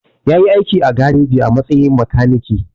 Ya yi aiki a gareji a matsayin makaniki.